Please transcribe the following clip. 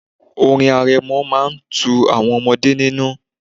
Orin arẹmọ máa tu àwọn ọmọdé nínú.